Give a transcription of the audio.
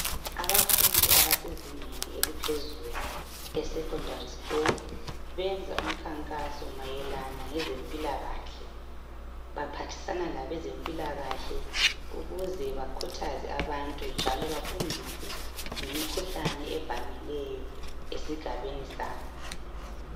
Abafundi abasezingeni eliphezulu esecondary school benza umkhankaso mayelana ngezempilakahle , baphathisana labezempilakahle ukuze bakhuthaze abantu njalo bafundiswe ngemikhuhlane evamileyo esigabeni sabo